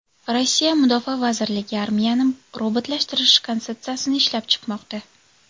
Rossiya mudofaa vazirligi armiyani robotlashtirish konsepsiyasini ishlab chiqmoqda.